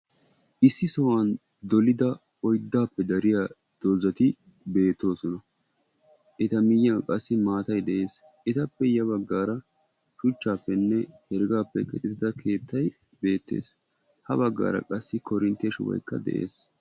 issi sohuwan dolida oyddappe dariya doozati beettoosona. Eta miyiyan qasi maatay de"es. Etappe ya baggaara shuchchaappenne heeregaappe keexetida keettay beettes. ha bagaara qasi koorinttiya shuboykka de"es.